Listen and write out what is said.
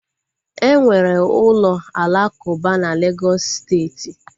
Enwere ụlọ alakuba na Legọs steeti